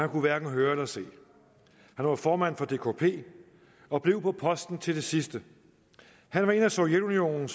kunne hverken høre eller se han var formand for dkp og blev på posten til det sidste han var en af sovjetunionen